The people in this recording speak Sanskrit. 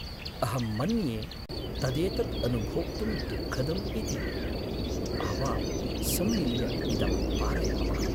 अहं मन्ये तदेतत् अनुभोक्तुं दुःखदम् इति! आवां सम्मिल्य इदं पारयावः।